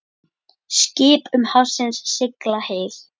Skip um hafsins sigla hyl.